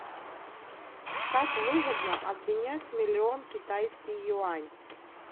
как выгодно обменять миллион китайский юань